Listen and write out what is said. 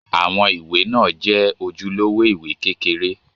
Àwọn ìwé náà jẹ́ ojúlówó ìwé kékeré.